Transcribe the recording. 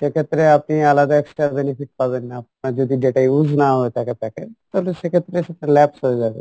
সেক্ষেত্রে আপনি আলাদা extra benefit পাবেন না আপনার যদি data use না হয়ে থাকে থাকে তাহলে সেক্ষেত্রে সেটা laps হয়ে যাবে